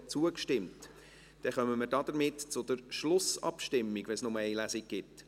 Somit kommen wir zur Schlussabstimmung, weil es nur eine Lesung gibt.